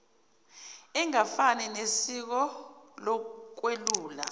engafani nesiko lokwelula